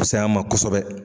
Pusaya ma kosɛbɛ.